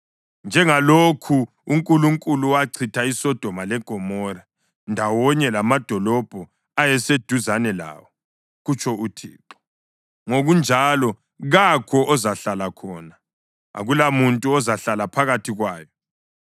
Njengalokhu uNkulunkulu wachitha iSodoma leGomora ndawonye lamadolobho ayeseduzane lawo,” kutsho uThixo, “ngokunjalo kakho ozahlala khona; akulamuntu ozahlala phakathi kwayo.